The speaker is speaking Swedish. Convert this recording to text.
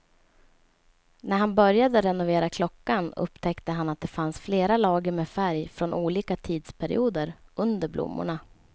När han började renovera klockan upptäckte han att det fanns flera lager med färg från olika tidsperioder under blommorna.